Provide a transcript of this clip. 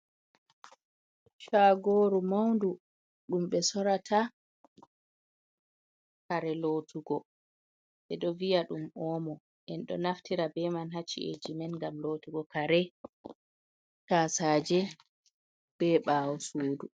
Shagoru maundu ɗum ɓe sorata kare lotugo, ɓe ɗo viya ɗum omo, en ɗo naftira be man hacci’eji men ngam lotugo kare, tasaje, be ɓawo sudu.